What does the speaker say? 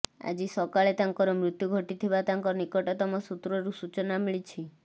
ଆଜି ସକାଳେ ତାଙ୍କର ମୃତ୍ୟୁ ଘଟିଥିବା ତାଙ୍କ ନିକଟତମ ସୂତ୍ରରୁ ସୂଚନା ମିଳିଛି